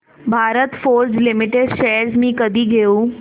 Bharat Forge limited shares मी कधी घेऊ